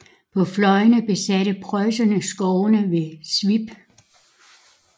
På fløjene besatte preusserne skovene ved Swiep